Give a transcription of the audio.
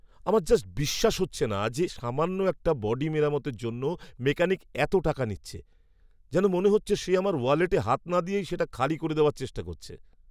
আমার জাস্ট বিশ্বাস হচ্ছে না যে সামান্য একটা বডি মেরামতের জন্য মেকানিক এতো টাকা নিচ্ছে! যেন মনে হচ্ছে সে আমার ওয়ালেটে হাত না দিয়েই সেটা খালি করে দেওয়ার চেষ্টা করছে!